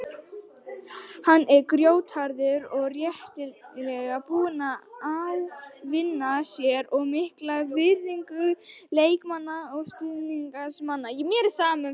Hann er grjótharður og réttilega búinn að ávinna sér mikla virðingu leikmanna og stuðningsmanna.